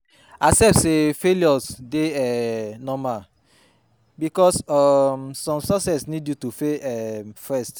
Accept say failure dey um normal bikos um som success nid yu to fail um first